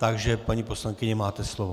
Takže paní poslankyně, máte slovo.